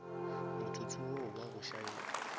motsotso wo wa go šaena